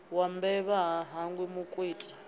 wa mbevha ha hangwi mukwita